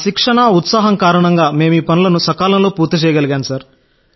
మా శిక్షణ ఉత్సాహం కారణంగా మేము ఈ పనులను సకాలంలో పూర్తి చేయగలిగాం